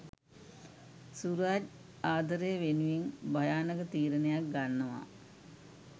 සුරජ් ආදරේ වෙනුවෙන් භයානක තීරණයක් ගන්නවා